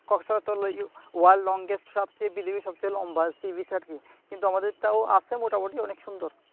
Cox's Bazar worlds longest সবচেয়ে পৃথিবীর সবচেয়ে লম্বা sea beach আরকি কিন্তু আমাদের তাও আছে মোটামুটি অনেক সুন্দর